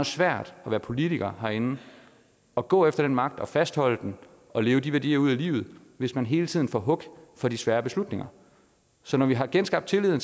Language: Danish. svært at være politiker herinde og gå efter den magt og fastholde den og leve de værdier ud i livet hvis man hele tiden får hug for de svære beslutninger så når vi har genskabt tilliden